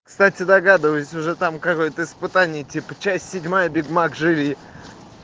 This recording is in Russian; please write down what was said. кстати догадываюсь уже там какой-то испытание типа часть седьмая биг мак живи